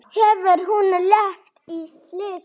Hafði hún lent í slysi?